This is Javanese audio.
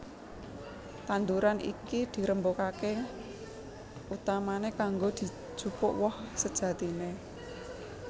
Tanduran iki dirembakaké utamané kanggo dijupuk woh sejatiné